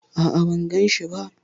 A'a, ban ganshi ba.